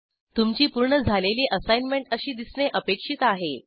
तुमची पूर्ण झालेली असाईनमेंट अशी दिसणे अपेक्षित आहे